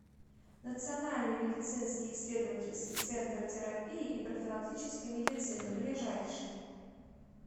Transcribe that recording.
национальный медицинский исследовательский центр терапии и профилактической медицины ближайший